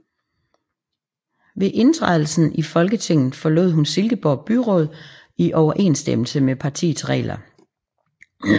Ved indtrædelsen i Folketinget forlod hun Silkeborg Byråd i overensstemmelse med partiets regler